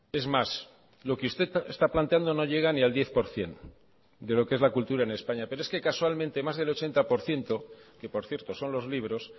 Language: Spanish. es más lo que usted está planteando no llega ni al diez por ciento de lo que es la cultura en españa pero es que casualmente más del ochenta por ciento que por cierto son los libros